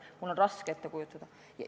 Mul on raske seda ette kujutada.